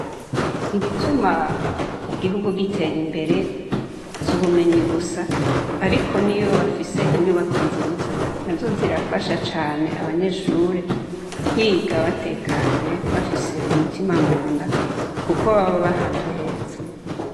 Ibituma igihugu gitera imbere, si ubumenyi gusa. Ariko n'iyo bafise inyubako nziza, nazo zirafasha abanyeshure, kwiga batekanye, bafise umutima munda, kuko baba ahantu heza.